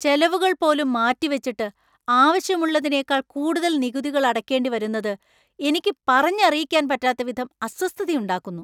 ചെലവുകൾ പോലും മാറ്റിവച്ചിട്ട്, ആവശ്യമുള്ളതിനേക്കാൾ കൂടുതൽ നികുതികൾ അടക്കേണ്ടി വരുന്നത് എനിക്ക് പറഞ്ഞറിയിക്കാൻ പറ്റാത്ത വിധം അസ്വസ്ഥതയുണ്ടാക്കുന്നു.